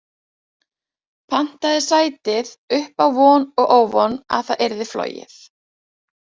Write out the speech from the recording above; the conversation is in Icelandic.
Pantaði sætið upp á von og óvon að það yrði flogið.